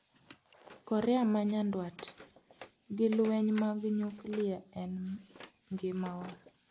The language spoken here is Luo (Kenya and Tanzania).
Korea ma nyanduat: gi lweny mag nyuklia en 'ngimawa'